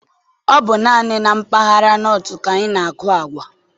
Ọ bụ naanị na mpaghara Nọt ka a na-aku agwa